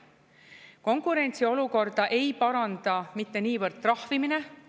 Konkurentsiolukorda ei paranda mitte niivõrd trahvimine.